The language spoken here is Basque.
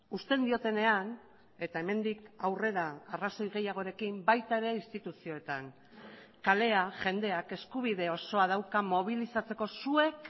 uzten diotenean eta hemendik aurrera arrazoi gehiagorekin baita ere instituzioetan kalea jendeak eskubide osoa dauka mobilizatzeko zuek